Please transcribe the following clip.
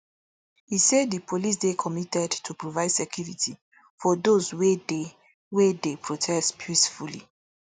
e say di police dey committed to provide security for those wey dey wey dey protest peacefully